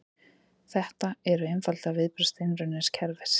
Þetta eru einfaldlega viðbrögð steinrunnins kerfis